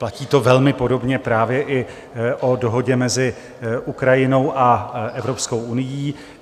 Platí to velmi podobně právě i o dohodě mezi Ukrajinou a Evropskou unií.